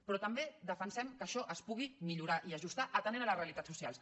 però també defensem que això es pugui millorar i ajustar atenent les realitats socials